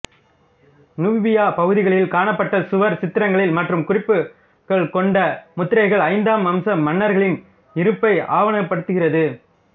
Nubia பகுதிகளில் காணப்பட்ட சுவர் சித்திரங்கள மற்றும் குறிப்புகள் கொண்ட முத்திரைகள் ஐந்தாம் வம்ச மன்னர்களின் இருப்பை ஆவணப்படுத்துகிறது